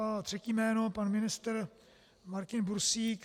A třetí jméno, pan ministr Martin Bursík.